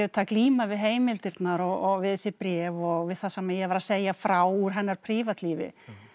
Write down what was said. glíma við heimildirnar og við þessi bréf og við það sem ég var að segja frá úr hennar prívatlífi